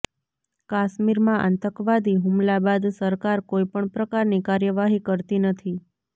કાશ્મીરમાં આતંકવાદી હુમલા બાદ સરકાર કોઈપણ પ્રકારની કાર્યવાહી કરતી નથી